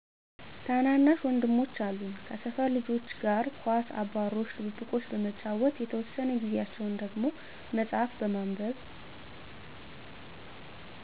ታናናሽ ወንድሞች አሉኝ ከሰፈር ልጆች ጋር ኳስ አባሮሽ ድብብቆሽ በመጫወት የተወሰነ ጊዛቸውን ደሞ መፅሀፍ በማንበብ